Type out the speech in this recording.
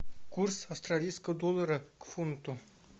курс австралийского доллара к фунту